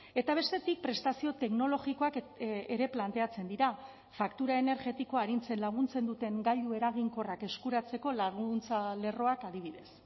eta bestetik prestazio teknologikoak ere planteatzen dira faktura energetikoa arintzen laguntzen duten gailu eraginkorrak eskuratzeko laguntza lerroak adibidez